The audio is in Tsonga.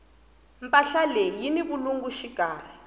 mpahla leyi yini vulungu xikarhi